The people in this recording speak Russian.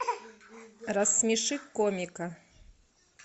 рассмеши комика